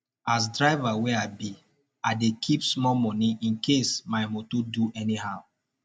as driver wey i be i dey keep small moni incase my moto do anyhow